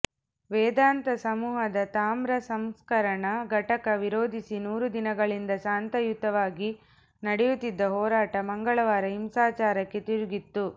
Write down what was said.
ವೇದಾಂತ ಸಮೂಹದ ತಾಮ್ರ ಸಂಸ್ಕರಣ ಘಟಕ ವಿರೋಧಿಸಿ ನೂರು ದಿನಗಳಿಂದ ಶಾಂತಯುತವಾಗಿ ನಡೆಯುತ್ತಿದ್ದ ಹೋರಾಟ ಮಂಗಳವಾರ ಹಿಂಸಾಚಾರಕ್ಕೆ ತಿರುಗಿತ್ತು